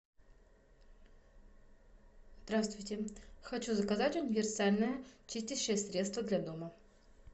здравствуйте хочу заказать универсальное чистящее средство для дома